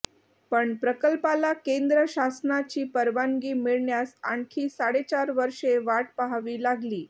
पण प्रकल्पाला केंद्र शासनाची परवानगी मिळण्यास आणखी साडेचार वर्षे वाट पहावी लागली